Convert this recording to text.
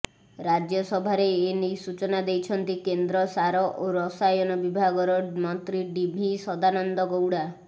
ରାଜ୍ୟସଭାରେ ଏନେଇ ସୂଚନା ଦେଇଛନ୍ତି କେନ୍ଦ୍ର ସାର ଓ ରସାୟନ ବିଭାଗର ମନ୍ତ୍ରୀ ଡି ଭି ସଦାନନ୍ଦ ଗୌଡା